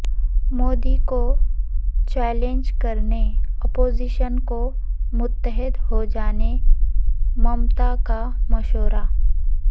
مودی کو چیلنج کرنے اپوزیشن کو متحد ہوجانے ممتا کا مشورہ